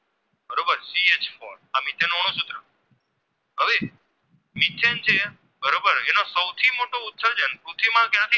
હવે બરોબર એનો સૌ થી મોટો ઉત્સર્જન પૃથ્વીમાં ક્યાં થી